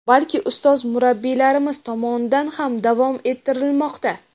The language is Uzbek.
balki ustoz-murabbiylarimiz tomonidan ham davom ettirilmoqda.